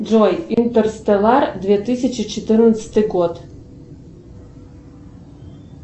джой интерстеллар две тысячи четырнадцатый год